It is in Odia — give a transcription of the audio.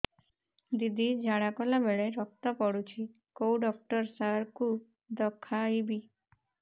ଦିଦି ଝାଡ଼ା କଲା ବେଳେ ରକ୍ତ ପଡୁଛି କଉଁ ଡକ୍ଟର ସାର କୁ ଦଖାଇବି